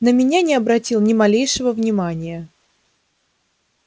на меня не обратил ни малейшего внимания